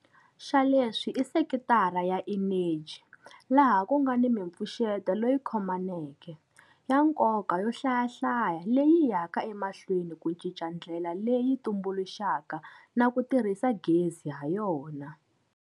Xa leswi i sekitara ya eneji, laha ku nga na mipfuxeto leyi khomaneke, ya nkoka yo hlayahlaya leyi yaka emahlweni ku cinca ndlela leyi tumbuluxaka na ku tirhisa gezi hayona.